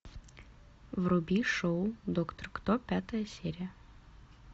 вруби шоу доктор кто пятая серия